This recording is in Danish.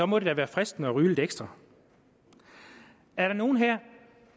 må det da være fristende at ryge lidt ekstra er der nogle her